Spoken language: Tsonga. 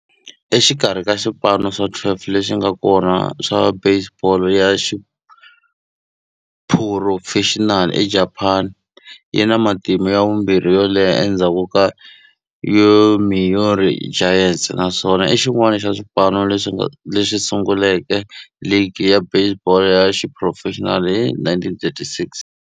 Exikarhi ka swipano swa 12 leswi nga kona swa baseball ya xiphurofexinali eJapani, yi na matimu ya vumbirhi yo leha endzhaku ka Yomiuri Giants, naswona i xin'wana xa swipano leswi sunguleke ligi ya baseball ya xiphurofexinali hi 1936.